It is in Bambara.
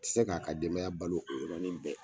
tɛ se k'a ka denbaya balo o yɔrɔnin bɛɛ.